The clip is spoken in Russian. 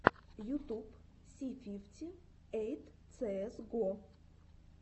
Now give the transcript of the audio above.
ютуб си фифти эйт цээс го